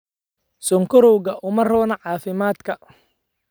Sonkorowga uma roona caafimaadka.